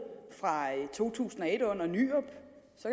fra to tusind og et under nyrup